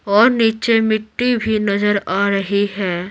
और नीचे मिट्टी भी नजर आ रही है।